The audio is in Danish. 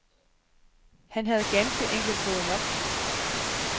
Han havde ganske enkelt fået nok.